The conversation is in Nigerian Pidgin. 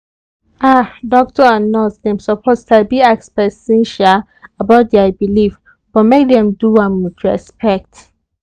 ah doctor and nurse dem suppose sabi ask person um about their belief but make dem do am with respect.